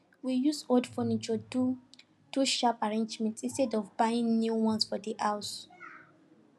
we use old furniture do do sharp arrangement instead of buying new ones for the house